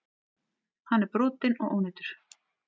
Hann er brotinn og ónýtur.